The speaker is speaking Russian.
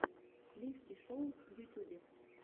сливки шоу в ютюбе